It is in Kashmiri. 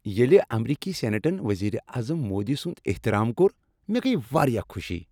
ییٚلہ امریکی سینیٹن وزیر اعظم مودی سنٛد احترام کوٚر، مےٚ گٔیہ واریاہ خوشی۔